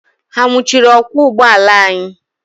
Ha nwụchiri ọkwọ ụgbọala anyị?